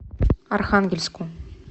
архангельску